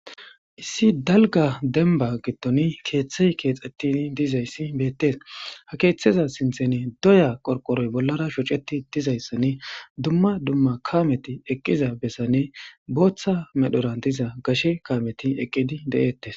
issi dalga denba gidton keeththey keexettin dizayssi beettes ha keeththeza sinthene doya qorqoroy bollara shoceti dizayssanne dumma dumma kaameti eqqiza bessanne booththa medhoran diza gashe kaameti eqqidi de7eettes